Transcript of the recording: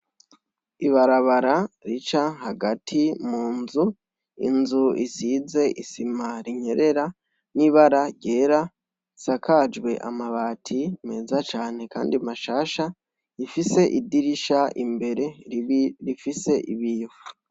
Ibarabara rica hagati munzu, inzu isize isima rinyerera n'ibara ryera, isakajwe amabati meza kandi mashasha, rifise idirisha bimbere rifise ibiyo.